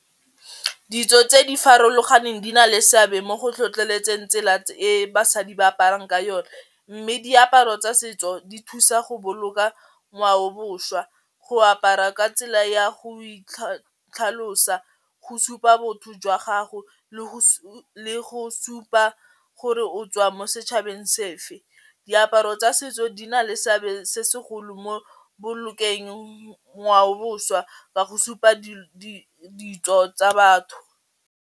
Ditso tse di farologaneng di na le seabe mo go tlhotlheletseng tsela e basadi ba aparang ka yone mme diaparo tsa setso di thusa go boloka ngwaoboswa go apara ka tsela ya go itlhalosa, go supa botho jwa gago le go le go supa gore o tswa mo setšhabeng sefe, diaparo tsa setso di na le seabe se segolo mo bolokeng ngwaoboswa ka go supa ditso tsa batho.